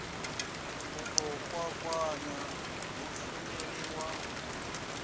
u ḓo kwakwanya mushumeli wa